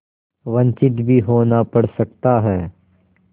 वंचित भी होना पड़ सकता है